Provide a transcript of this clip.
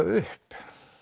upp